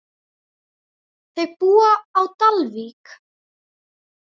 Þau búa á Dalvík.